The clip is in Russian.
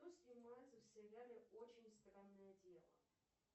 кто снимается в сериале очень странное дело